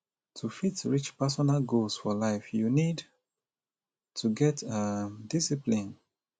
to fit reach personal goals for life you need to get um discipline